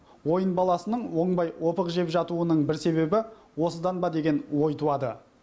ойын баласының оңбай опық жеп жатуының бір себебі осыдан ба деген ой туады